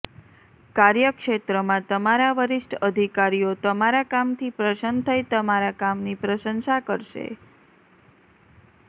કાર્યક્ષેત્રમાં તમારા વરિષ્ઠ અધિકારીઓ તમારા કામથી પ્રસન્ન થઇ તમારા કામની પ્રશંસા કરશે